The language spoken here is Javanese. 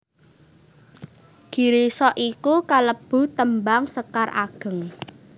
Girisa iku kalebu tembang sekar ageng